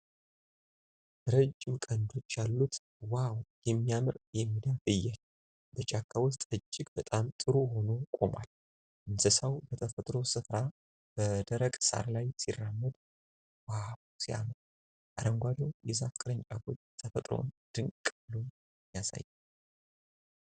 ረጅም ቀንዶች ያሉት ዋው የሚያምር የሜዳ ፍየል በጫካ ውስጥ እጅግ በጣም ጥሩ ሆኖ ቆሟል። እንስሣው በተፈጥሮው ስፍራ በደረቅ ሳር ላይ ሲራመድ ዋው ሲያምር! አረንጓዴው የዛፍ ቅርንጫፎች ተፈጥሮን ድንቅ ብሎ ያሳያል።